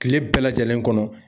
Kile bɛɛ lajɛlen kɔnɔ.